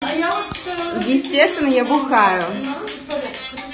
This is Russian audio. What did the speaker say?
а я естественно я бухаю